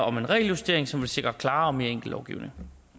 om en regeljustering som vil sikre klarere og mere enkel lovgivning